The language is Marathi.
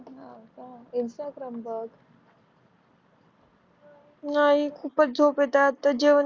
नाही खूपच झोप येत आहे आताच जेवण